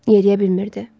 Yeriyə bilmirdi.